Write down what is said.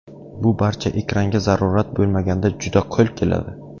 Bu barcha ekranga zarurat bo‘lmaganda juda qo‘l keladi.